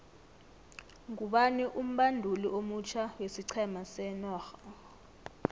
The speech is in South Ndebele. ngubani umbanduli omutjha wesiqhema senorha